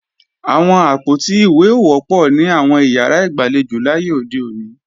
Àwọn àpótí ìwé ò wọ́pọ̀ ní àwọn ìyàrá ìgbàlejò láyé òde òní